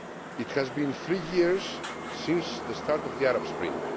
It has been three years since the start of the Arab Spring.